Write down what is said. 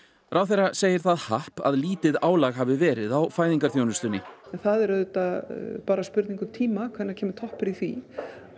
ráðherra segir það happ að lítið álag hafi verið á fæðingarþjónustunni en það er auðvitað bara spurning um tíma hvenær kemur toppur í því